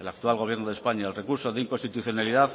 el actual gobierno de españa el recurso de inconstitucionalidad